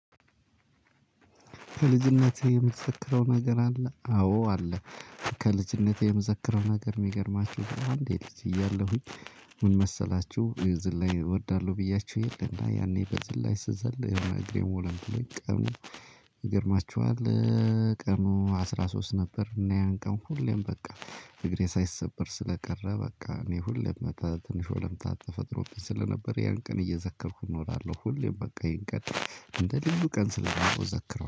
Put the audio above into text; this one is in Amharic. ከልጅነትህ የምትዘክረው ነገር አለ? አዎ አለ። ከልጅነቴ የምዘክረው ነገር የሚገርማችሁ እንዴ? ልጅ እያለሁኝ። ምን መሰላችሁ? ዝላይ እወዳለሁ ብያችሁ የለ እና ያኔ በዝላይ ስዘል የሆነ እግሬን ወለም ብሎኝ ቀኑ ይገርማችኋል። ቀኑ አስራ ሶስት ነበር። እና ያን ቀን ሁሌም በቃ እግሬ ሳይሰበር ስለቀረ በቃ እኔ ሁሌም በቃ ትንሽ ወለምታ ተፈጥሮብኝ ስለነበር ያን ቀን እየዘከርኩ እኖራለሁ። ሁሌም በቃ ይህን ቀን እንደ ልዩ ቀን ስለማየው እዘክረዋለሁ